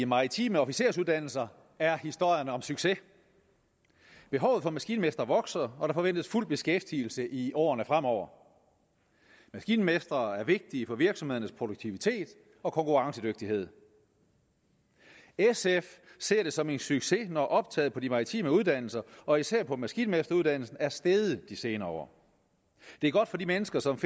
maritime officersuddannelser er historien om succes behovet for maskinmestre vokser og der forventes fuld beskæftigelse i årene fremover maskinmestre er vigtige for virksomhedernes produktivitet og konkurrencedygtighed sf ser det som en succes når optaget på de maritime uddannelser og især på maskinmesteruddannelsen er steget de senere år det er godt for de mennesker som